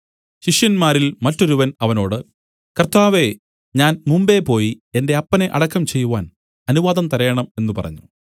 ശിഷ്യന്മാരിൽ മറ്റൊരുവൻ അവനോട് കർത്താവേ ഞാൻ മുമ്പേപോയി എന്റെ അപ്പനെ അടക്കം ചെയ്‌വാൻ അനുവാദം തരേണം എന്നു പറഞ്ഞു